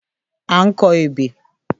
À ń kọ ebè